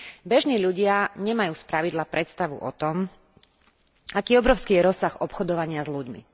Bežní ľudia nemajú spravidla predstavu o tom, aký obrovský je rozsah obchodovania s ľuďmi.